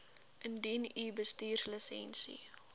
indien u bestuurslisensie